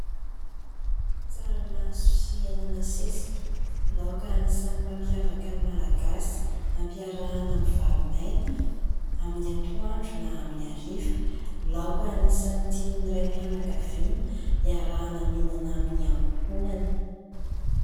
Tsaramaso sy hena nasesika, laoka anisan'ny mampiavaka ny Malagasy, ampiarahana amin'ny vary maina amin'ny atoandro na amin'ny hariva. Laoka anisan'ny tian'ny raim-pianakaviana iarahana mihinana amin'ny ankohonany.